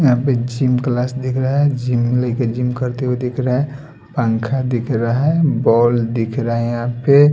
यहां पे gym class दिख रहा है जिम लइके जिम करते हुए दिख रहे है पंखा दिख रहा है बॉल दिख रहा है यहां पे।